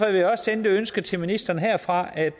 jeg også sende det ønske til ministeren herfra at